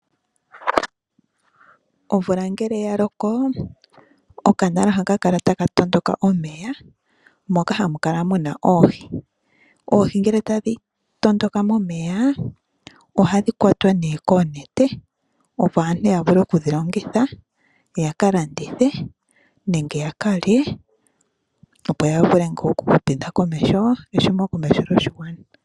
Omvula ngele ya loko okanala ohaka kala taka matuka omeya moka hamu kala muna oohi. Oohi ngele tadhi tondoka momeya ohadhi kwatwa nee koonete opo aantu yavule oku dhilongitha yaka landithe ,nenge yakalye opo yavule ngaa oku tidha komeho ehumokomeho lyoshigwana.